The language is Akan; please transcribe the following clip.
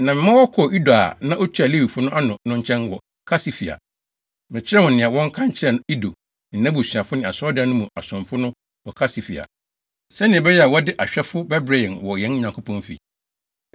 na mema wɔkɔɔ Ido a na otua Lewifo no ano no nkyɛn wɔ Kasifia. Mekyerɛɛ wɔn nea wɔnka nkyerɛ Ido ne nʼabusuafo ne asɔredan no mu asomfo no wɔ Kasifia, sɛnea ɛbɛyɛ a wɔde ahwɛfo bɛbrɛ yɛn wɔ yɛn Nyankopɔn fi.